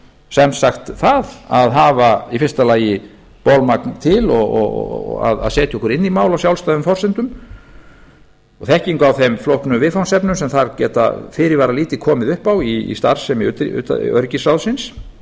sem sagt það að hafa í fyrsta lagi bolmagn til að setja okkur inn í mál á sjálfstæðum forsendum og þekkingu á þeim flóknu viðfangsefnum sem þar geta fyrirvaralítið komið upp á í starfsemi öryggisráðsins